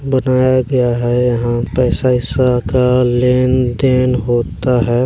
बनाया गया है यहाँ पर पैसा ऐसा का लेन देन होता है।